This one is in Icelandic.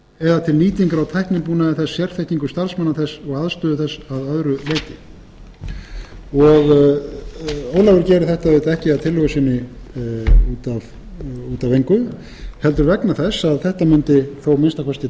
eða til nýtingar á tæknibúnaði þess sérþekkingu þess starfsmanna þess og aðstöðu þess að öðru leyti ólafur gerir þetta auðvitað ekki að tillögu sinni út af engu heldur vegna þess að þetta mundi þó að